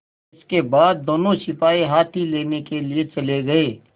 इसके बाद दोनों सिपाही हाथी लेने के लिए चले गए